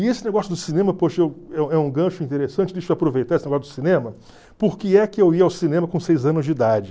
E esse negócio do cinema, poxa, é um gancho interessante, deixa eu aproveitar esse negócio do cinema, porque é que eu ia ao cinema com seis anos de idade.